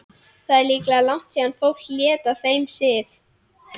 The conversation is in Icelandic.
Það er líklega langt síðan fólk lét af þeim sið.